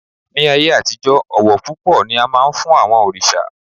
Ní ayé àtijọ́, ọ̀wọ̀ púpọ̀ ni a máa ń fún àwọn òrìṣà